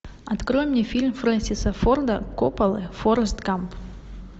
открой мне фильм фрэнсиса форда коппола форест гамп